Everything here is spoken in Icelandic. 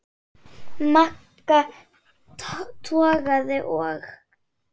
Magga togaði og